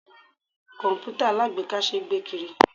Komputa alagbeeka ṣé gbé kiri.